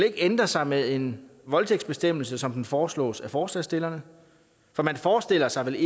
ændre sig med en voldtægtsbestemmelse som den foreslås af forslagsstillerne for man forestiller sig vel